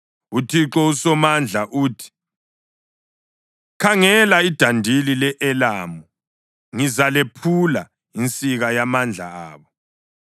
UThixo uSomandla uthi: “Khangela, idandili le-Elamu ngizalephula, insika yamandla abo.